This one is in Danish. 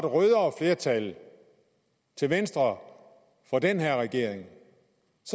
rødere flertal til venstre for den her regering